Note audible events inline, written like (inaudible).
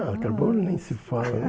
Não, carbono nem se fala. (laughs)